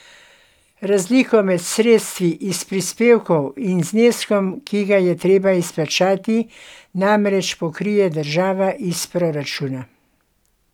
Razliko med sredstvi iz prispevkov in zneskom, ki ga je treba izplačati, namreč pokrije država iz proračuna.